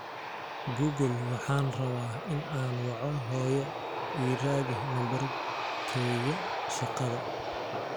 google waxaan rabaa in aan waco hoyo ii raadi nambarkayda shaqada